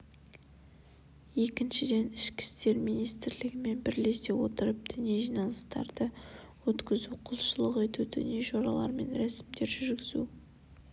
екіншіден ішкі істер министрлігімен бірлесе отырып діни жиналыстарды өткізу құлшылық ету діни жоралар мен рәсімдер жүргізу